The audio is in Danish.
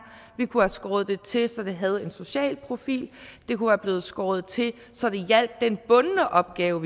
vi kunne have skåret det til så det havde en social profil det kunne være blevet skåret til så det hjalp den bundne opgave